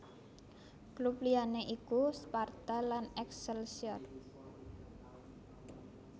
Klub liyané iku Sparta lan Excelsior